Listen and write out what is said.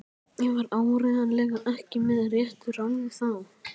Ég var áreiðanlega ekki með réttu ráði þá.